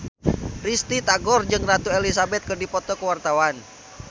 Risty Tagor jeung Ratu Elizabeth keur dipoto ku wartawan